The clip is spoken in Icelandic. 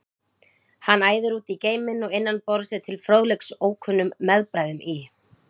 Hann æðir út í geiminn og innan borðs er til fróðleiks ókunnum meðbræðrum í